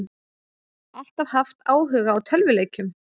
Alltaf haft áhuga á tölvuleikjum